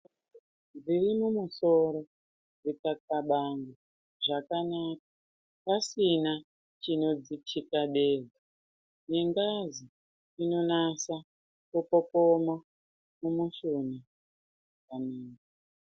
Zviri mumasoro zvikaxabana zvakanaka pasina chinodzithikabeza nengazi inonasa kupopoma muushoni zvakanaka.